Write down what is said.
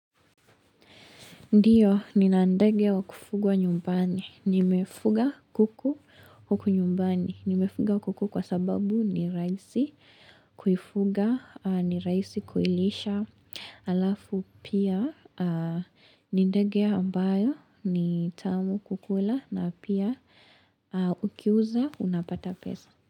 Ndiyo, Nina ndege wa kufugwa nyumbani. Nimefuga kuku huku nyumbani. Nimefuga kuku kwa sababu ni rahisi kuifuga, ni rahisi kuilisha. Halafu pia, ni ndege ambayo ni tamu kukula na pia ukiuza unapata pesa.